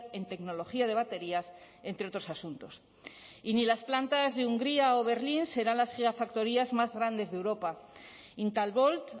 en tecnología de baterías entre otros asuntos y ni las plantas de hungría o berlín serán las gigafactorías más grandes de europa intalvolt